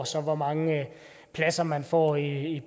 så hvor mange pladser man får i